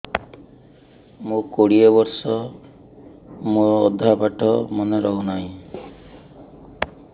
ମୋ କୋଡ଼ିଏ ବର୍ଷ ମୋର ଅଧା ପାଠ ମନେ ରହୁନାହିଁ